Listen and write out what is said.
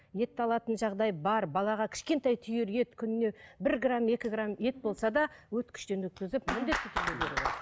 етті алатын жағдай бар балаға кішкентай түйір ет күніне бір грамм екі грамм ет болса да өткіштен өткізіп